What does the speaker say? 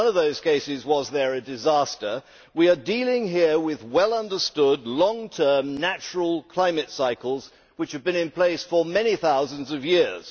In none of those cases was there a disaster. We are dealing here with well understood, long term natural climate cycles which have been in place for many thousands of years.